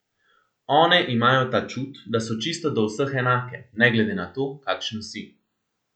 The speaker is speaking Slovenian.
One imajo ta čut, da so čisto do vseh enake, ne glede na to, kakšen si.